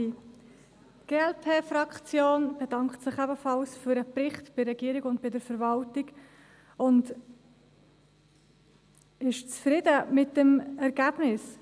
Die Glp-Fraktion bedankt sich ebenfalls bei der Regierung und der Verwaltung für den Bericht und ist zufrieden mit dem Ergebnis.